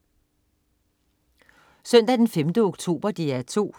Søndag den 5. oktober - DR 2: